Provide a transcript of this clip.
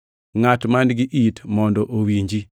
Ngʼat man-gi it, mondo owinji!